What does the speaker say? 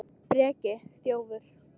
Breki: Þjófur?